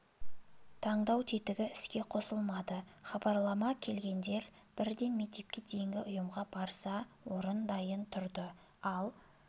таңдау тетігі іске қосылмады хабарлама келгендер бірден мектепке дейінгі ұйымға барса орын дайын тұрды ал